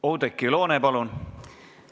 Oudekki Loone, palun!